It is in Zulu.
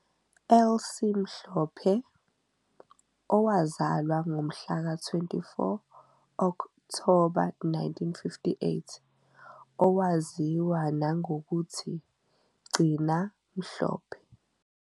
Elsie Mhlophe, owazalwa ngomhlaka 24 Okthoba 1958, owaziwa nangokuthi " 'Gcina Mhlophe' ",